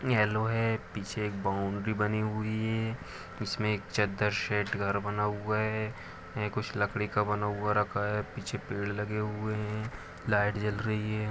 Yellow है पीछे एक बॉउंड्री बनी हुई है इसमें एक चदर सेट घर बना हुआ है कुछ लकड़ी का बना हुआ रखा है पीछे पेड़ लगे हुए है लाईट जल रही हैं।